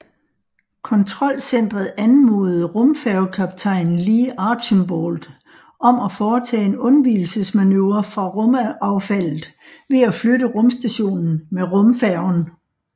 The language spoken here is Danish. Kontrolcenteret anmodede rumfærgekaptajn Lee Archambault om at foretage en undvigelsesmanøvre fra rumaffaldet ved at flytte rumstationen med rumfærgen